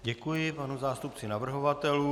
Děkuji panu zástupci navrhovatelů.